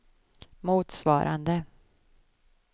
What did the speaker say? motsvarande